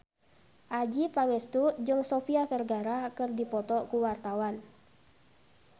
Adjie Pangestu jeung Sofia Vergara keur dipoto ku wartawan